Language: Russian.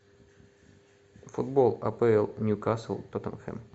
футбол апл ньюкасл тоттенхэм